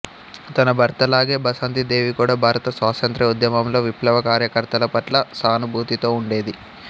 తన భర్తలాగే బసంతీ దేవి కూడా భారత స్వాతంత్ర్య ఉద్యమంలో విప్లవ కార్యకర్తల పట్ల సానుభూతితో ఉండేది